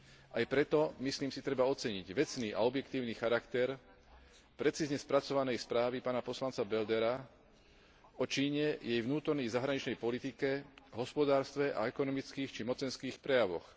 Aj preto, myslím si, treba oceniť vecný a objektívny character precízne spracovanej správy pána poslanca Beldera o Číne, jej vnútornej i zahraničnej politike, hospodárstve a ekonomických či mocenských prejavoch.